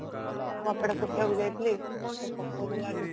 କପଡା ଶୁଖେଇବାକୁ ଯାଇଥିଲି ତ ପକଉଥିଲା